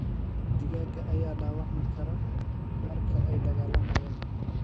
Digaagga ayaa dhaawacmi kara marka ay dagaalamayaan.